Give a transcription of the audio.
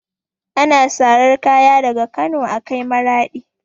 Ana sarar kaya daga Kano a kai Maraɗi